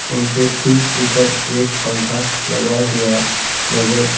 उनके ठीक ऊपर एक पंखा लगा हुआ नजर--